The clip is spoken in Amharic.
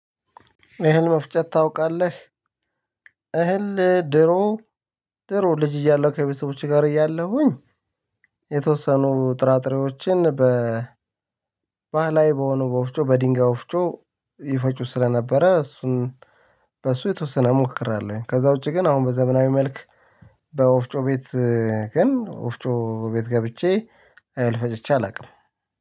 እህል መፍጨት ታውቃለህ እህል ድሮ ድሮ ልጅ እያለሁ ከቤተሰቦቹ ጋር እያለሁኝ። የተወሰኑ ጥራጥሬዎችን በ ባህላዊ በሆኑ በወፍጮ በድንጋይ ወፍጮ ይፈጩት ስለነበረ እሱን በሱ የተወሰነ እሞክራለሁኝ። ከዛ ውጪ ግን አሁን በዘመናዊ መልክ በወፍጮ ቤት ግን ወፍጮ ቤት ገብቼ እህሕ ፈጨቼ አላውቅም